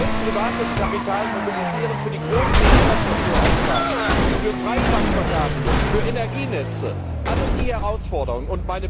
Wir wollen privates Kapital mobilisieren für die großen Infrastrukturaufgaben, für Breitbandverkabelung, für Energienetze, für alle diese Herausforderungen.